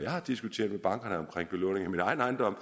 har diskuteret med bankerne om belåning af min egen ejendom